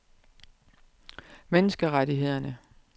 menneskerettighederne